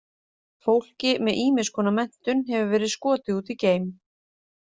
Fólki með ýmiss konar menntun hefur verið skotið út í geim.